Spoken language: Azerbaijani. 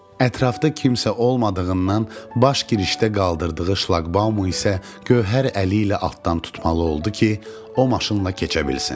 Ətrafda kimsə olmadığından baş girişdə qaldırdığı şlaqbaumı isə gövhər əli ilə altdan tutmalı oldu ki, o maşınla keçə bilsin.